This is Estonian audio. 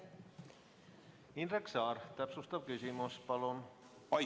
Indrek Saar, täpsustav küsimus palun!